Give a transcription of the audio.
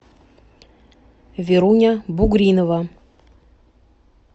веруня бугринова